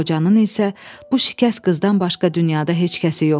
Qocanın isə bu şikəst qızdan başqa dünyada heç kəsi yoxdur.